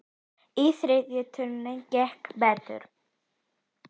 Í þriðju tilraun gekk betur.